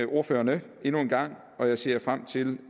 ordførerne endnu en gang og jeg ser frem til